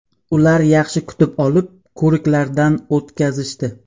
Ular yaxshi kutib olib, ko‘riklardan o‘tkazishdi.